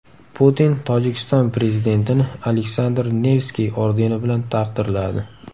Putin Tojikiston prezidentini Aleksandr Nevskiy ordeni bilan taqdirladi.